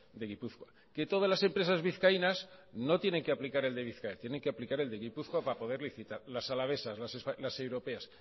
de gipuzkoa que todas las empresas vizcaínas no tienen que aplicar el de bizkaia tienen que aplicar el de gipuzkoa para poder licitar las alavesas las europeas